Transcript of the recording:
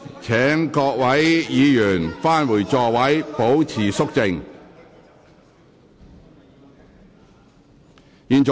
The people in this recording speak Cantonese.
請各位議員返回座位，保持肅靜。